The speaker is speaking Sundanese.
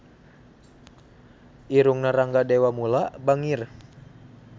Irungna Rangga Dewamoela bangir